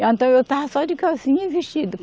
Então, eu estava só de calcinha e vestido.